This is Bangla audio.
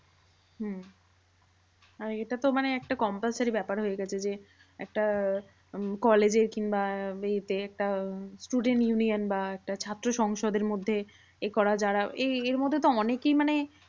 হম আর এটা তো মানে একটা compulsory ব্যাপার হয়ে গেছে যে, একটা উম college এর কিংবা এতে একটা উম student union বা একটা ছাত্র সংসদের মধ্যে এ করা যারা, এই এরমধ্যে তো অনেকেই মানে